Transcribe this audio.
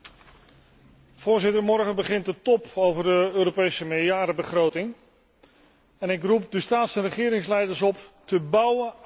Morgen begint de top over de Europese meerjarenbegroting en ik roep de staats en regeringsleiders op te bouwen aan vertrouwen.